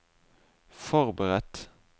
forberedt